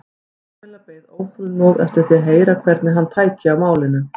Kamilla beið óþolinmóð eftir því að heyra hvernig hann tæki á málinu.